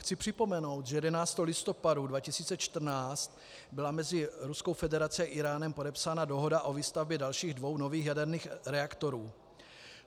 Chci připomenout, že 11. listopadu 2014 byla mezi Ruskou federací a Íránem podepsána dohoda o výstavbě dalších dvou nových jaderných reaktorů.